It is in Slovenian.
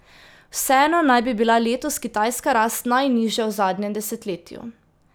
Vseeno naj bi bila letos kitajska rast najnižja v zadnjem desetletju.